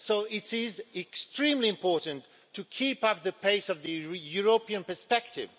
So it is extremely important to keep up the pace of the European perspective.